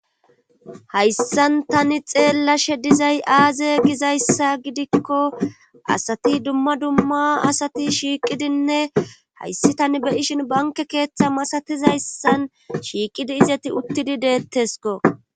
Hayssan tani xeellashe dizay aaze gizayssa gidikko asati dumma dumma asati shiiqidinne hayssi tani beyishin banke keeththa masatizayssan shiiqidi izeti uttidi deettesko.